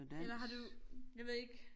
Eller har du jeg ved ikke